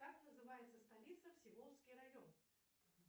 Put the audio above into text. как называется столица всеволожский район